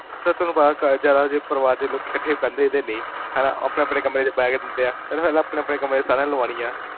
Sir, ਤੁਹਾਨੂ ਪਤਾ ਜਾਦਾ ਜੇ ਪਰਵਾਰ ਦੇ ਲੋਕੀ ਕਠੇ ਬੇਹ੍ਨ੍ਦੇ ਨੀ, ਹੈਨਾ? ਓਹ ਆਪਣੇ ਆਪਣੇ ਕਮਰੇ ਚ ਬੈਠੇ ਹੁੰਦੇ ਆ